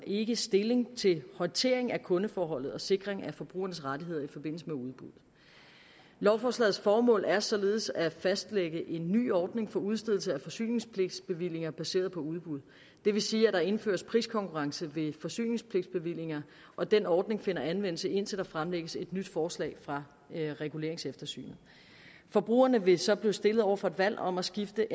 ikke stilling til håndtering af kundeforhold og sikring af forbrugernes rettigheder i forbindelse med udbuddet lovforslagets formål er således at fastlægge en ny ordning for udstedelse af forsyningspligtsbevillinger baseret på udbud det vil sige at der indføres priskonkurrence ved forsyningspligtsbevillinger og den ordning finder anvendelse indtil der fremlægges et nyt forslag fra reguleringseftersynet forbrugerne vil så blive stillet over for et valg om at skifte